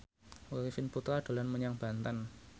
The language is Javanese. Arifin Putra dolan menyang Banten